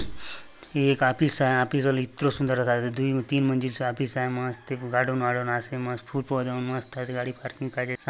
ये एक ऑफिस आय ऑफिस बले इतरो सुन्दर दखा देयसे दुइ तीन मंजिल चो ऑफिस आय मस्त गार्डन वार्डन आसे मस्त फूल पौधा मन मस्त आसे गाड़ी पार्किंग काजे --